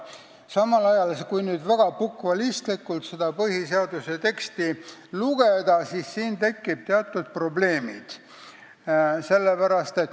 Samal ajal, kui seda põhiseaduse teksti väga bukvalistlikult lugeda, tekivad siin teatud probleemid.